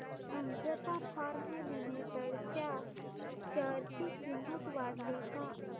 Ajanta pharma limited च्या share ची किंमत वाढली का